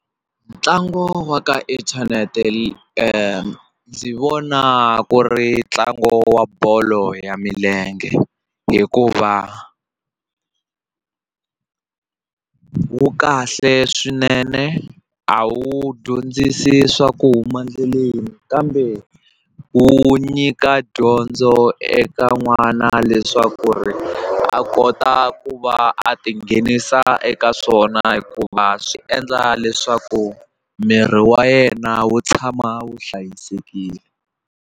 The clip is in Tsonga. Ntlangu wa ka inthanete ni vona ku ri ntlangu wa bolo ya milenge hikuva wu kahle swinene a wu dyondzisi swa ku huma endleleni kambe wu nyika dyondzo eka n'wana leswaku ri a kota ku va a tinghenisa eka swona hikuva swi endla leswaku miri wa yena wu tshama wu hlayisekile.